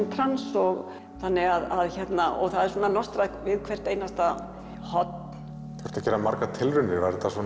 í trans þannig að og það er svona við hvert einasta horn þurfti að gera margar tilraunir